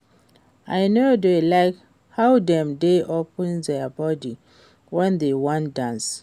I no dey like how dem dey open their body wen dey wan dance